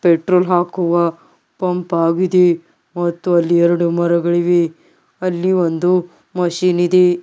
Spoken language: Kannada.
ಪೆಟ್ರೋಲ್ ಹಾಕುವ ಪಂಪ್ ಆಗಿದೆ ಮತ್ತು ಅಲ್ಲಿ ಎರಡು ಮರಗಳಿವೆ ಅಲ್ಲಿ ಒಂದು ಮಷೀನ್ ಇದೆ.